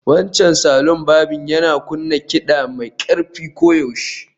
Wancan salon barbing yana kunna kiɗa mai ƙarfi koyaushe